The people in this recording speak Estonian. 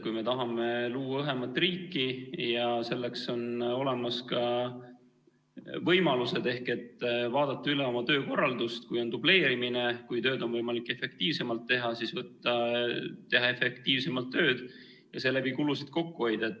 Kui me tahame luua õhemat riiki ja selleks on olemas ka võimalused, siis vaadata üle oma töökorraldus, kui on dubleerimine, kui tööd on võimalik efektiivsemalt teha, siis teha efektiivsemalt tööd ja seeläbi kulusid kokku hoida.